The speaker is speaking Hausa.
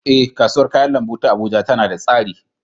Eh, kasuwar kayan lambu ta Abuja tana da tsari